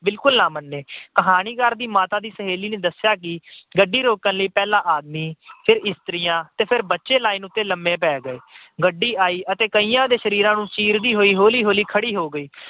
ਬਿਲਕੁਲ ਨਾ ਮੰਨੇ। ਕਹਾਣੀਕਾਰ ਦੀ ਮਾਤਾ ਦੀ ਸਹੇਲੀ ਨੇ ਦੱਸਿਆ ਕਿ ਗੱਡੀ ਰੋਕਣ ਲਈ ਪਹਿਲਾ ਆਦਮੀ, ਫਿਰ ਇਸਤਰੀਆਂ ਤੇ ਫਿਰ ਬੱਚੇ line ਉਤੇ ਲੰਮੇ ਪੈ ਗਏ। ਗੱਡੀ ਆਈ ਤੇ ਕਈਆਂ ਦੇ ਸਰੀਰ ਨੂੰ ਚੀਰਦੀ ਹੋਈ ਹੌਲੀ-ਹੌਲੀ ਖੜ੍ਹੀ ਹੋ ਗਈ।